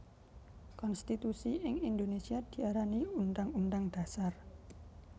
Konstitusi ing Indonesia diarani Undhang Undhang Dhasar